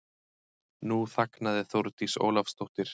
Nú þagnaði Þórdís Ólafsdóttir.